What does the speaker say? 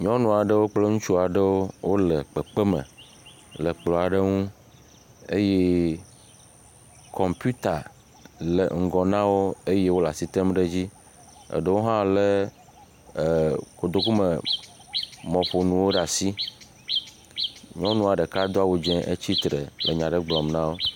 Nyɔnu aɖewo kple ŋutsu aɖewo wole kpekpe me le kplɔ aɖe ŋu eye kɔmpita le ŋgɔ na wo eye wole asi tem ɖe edzi. Eɖewo hã le ee kotokume mɔƒonuwo ɖe asi. Nyɔnua ɖeka do awɔ dzi etsitre le nya aɖe gblɔm na wo.